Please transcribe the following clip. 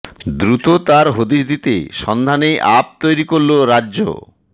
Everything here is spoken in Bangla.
দ্রুত তার হদিশ দিতে সন্ধানে অ্য়াপ তৈরি করল রাজ্য়